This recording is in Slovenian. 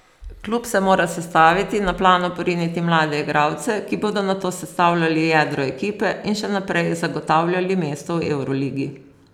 Klub se mora sestaviti, na plano poriniti mlade igralce, ki bodo nato sestavljali jedro ekipe in še naprej zagotavljali mesto v evroligi.